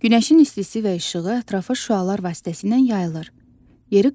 Günəşin istisi və işığı ətrafa şüalar vasitəsilə yayılır, yeri qızdırır.